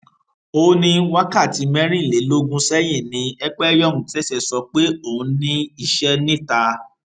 ó ní wákàtí mẹrìnlélógún sẹyìn ni ekpenyọng ṣẹṣẹ sọ pé òun ní iṣẹ níta